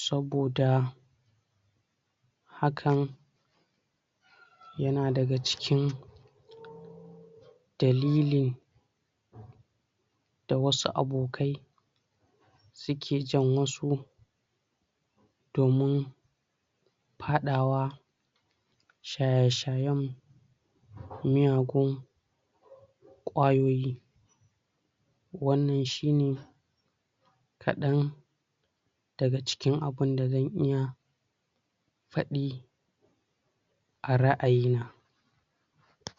saboda????? hakan??????? yana daga cikin????? dalilin????? da wasu abokai suke jan wasu????? domin hadawa shaye-shayen miyagun qwayoyi wannan shine kadan daga cikin abunda zan iya fadi a ra; ayina